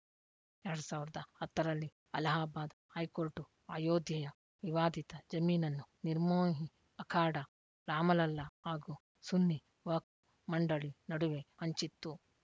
ಎರಡ್ ಸಾವಿರದ ಹತ್ತರಲ್ಲಿ ಅಲಹಾಬಾದ್‌ ಹೈಕೋರ್ಟು ಅಯೋಧ್ಯೆಯ ವಿವಾದಿತ ಜಮೀನನ್ನು ನಿರ್ಮೋಹಿ ಅಖಾಡಾ ರಾಮಲಲ್ಲಾ ಹಾಗೂ ಸುನ್ನಿ ವಕ್ಫ್ ಮಂಡಳಿ ನಡುವೆ ಹಂಚಿತ್ತು